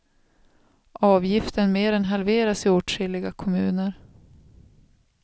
Avgiften mer än halveras i åtskilliga kommuner.